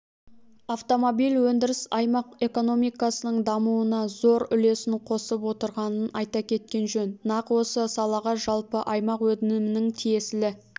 автомобиль өндірісі аймақ экономикасының дамуына зор үлесін қосып отырғанын айта кеткен жөн нақ осы салаға жалпы аймақ өнімінің тиесілі